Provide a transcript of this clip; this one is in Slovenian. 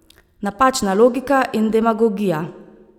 Napačna logika in demagogija.